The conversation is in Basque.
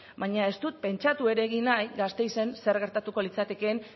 baina ez dut pentsatu ere egin nahi gasteizen zer gertatuko litzatekeen